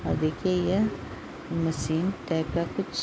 और देखिये यह मशीन टाइप का कुछ --